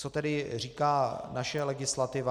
Co tedy říká naše legislativa?